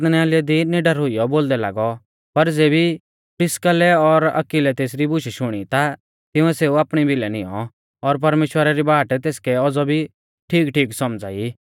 अपुल्लोस आराधनालय दी निडर हुइयौ बोलदै लागौ पर ज़ेबी प्रिस्किल्लै और अक्विलै तेसरी बुशै शुणी ता तिंउऐ सेऊ आपणी भिलै नियौं और परमेश्‍वरा री बाट तेसकै औज़ौ भी ठीकठीक सौमझ़ा ई